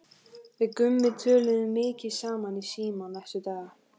Við Gummi töluðum mikið saman í síma næstu daga.